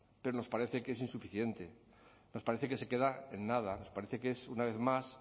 pero nos parece que es insuficiente nos parece que se queda en nada nos parece que es una vez más